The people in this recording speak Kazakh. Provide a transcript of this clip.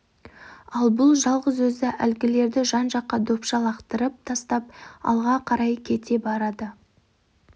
ал бұл жалғыз өзі әлгілерді жан-жаққа допша лақтырып тастап алға қарай кете барады